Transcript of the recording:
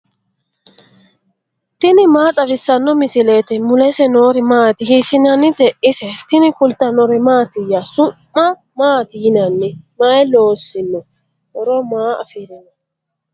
tini maa xawissanno misileeti ? mulese noori maati ? hiissinannite ise ? tini kultannori mattiya? Su'ma maatti yinnanni? may loosinno? horo maa affirinno?